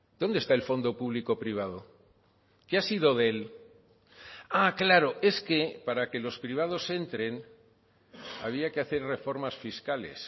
dónde está el fondo público privado qué ha sido de él ah claro es que para que los privados entren había que hacer reformas fiscales